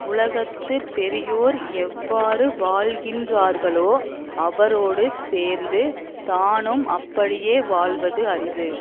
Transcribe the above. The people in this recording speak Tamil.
உலகத்து பெரியோர் எவ்வாறு வாழ்கின்றார்களோ அவரோடு சேர்ந்து தானும் அப்படியே வாழ்வது அறிவு